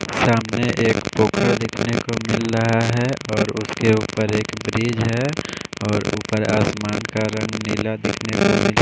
सामने एक फोटो देखने को मिल रहा है और उसके ऊपर एक ब्रिज है और आसमान का रंग नीला नीला दिखने--